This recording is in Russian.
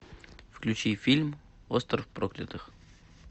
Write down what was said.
включи фильм остров проклятых